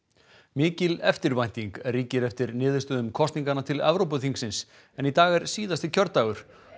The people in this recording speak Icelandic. mikil eftirvænting ríkir eftir niðurstöðum kosninganna til Evrópuþingsins en í dag er síðasti kjördagur